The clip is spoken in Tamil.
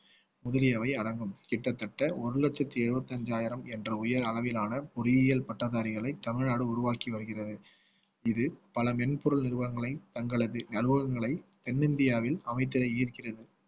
முதலியவை அடங்கும் கிட்டத்தட்ட ஒரு லட்சத்து எழுபத்தஞ்சாயிரம் என்ற உயர் அளவிலான பொறியியல் பட்டதாரிகளை தமிழ்நாடு உருவாக்கி வருகிறது இது பல மென்பொருள் நிறுவனங்களை தங்களது அலுவலகங்களை தென்னிந்தியாவில் அமைத்திட ஈர்க்கிறது